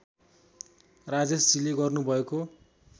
राजेशजीले गर्नु भएको